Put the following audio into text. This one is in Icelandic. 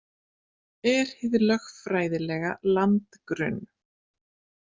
Er hið lögfræðilega landgrunn.